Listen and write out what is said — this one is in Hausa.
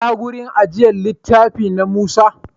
Ina wurin ajiyar littafi, na Musa?